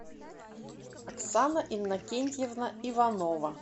оксана иннокентьевна иванова